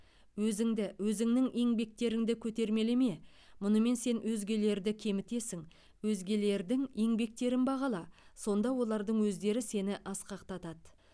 өзіңді өзіңнің еңбектеріңді көтермелеме мұнымен сен өзгелерді кемітесің өзгелердің еңбектерін бағала сонда олардың өздері сені асқақтатады